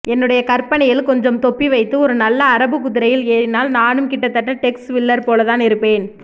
என்னுடைய கற்பனையில் கொஞ்சம் தொப்பி வைத்து ஒரு நல்ல அரபுக்குதிரையில் ஏறினால் நானும் கிட்டத்தட்ட டெக்ஸ் வில்லர் போலதான் இருப்பேன்